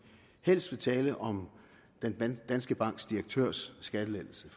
helst vil tale om danske banks direktørs skattelettelse